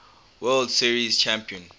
world series champion